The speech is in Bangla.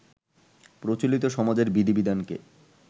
প্রচলিত সমাজের বিধি-বিধানকে